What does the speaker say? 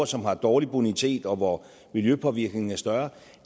som har dårlig bonitet og hvor miljøpåvirkningen er større